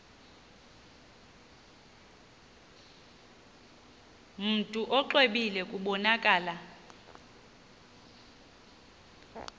mntu exwebile kubonakala